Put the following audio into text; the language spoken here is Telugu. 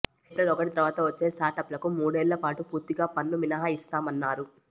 ఏప్రిల్ ఒకటి తర్వాత వచ్చే స్టార్టప్లకు మూడేళ్లపాటు పూర్తిగా పన్ను మినహాయిస్తామన్నారు